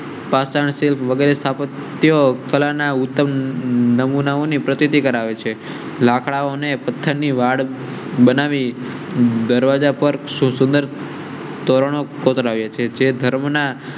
પાષાણ, શિલ્પ વગેરે સ્થાપત્ય કલા ના ઉત્તમ નમૂનાઓ ની પ્રતીતિ કરાવે છે. લાકડાઓ ને પથ્થર ની વાડ બનાવી દરવાજા પર સુંદર. ધોરણ રહ્યા છે જે ધર્મના